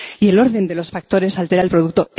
Y el orden de los factores altera el producto.